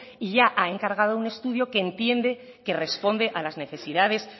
y ya ha encargado un estudio que entiende que responde a las necesidades